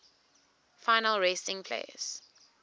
final resting place